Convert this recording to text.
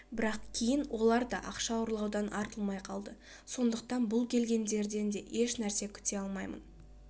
бірақ кейін олар да ақша ұрлаудан артылмай қалды сондықтан бұл келгендерден де ешнәрсе күте алмаймын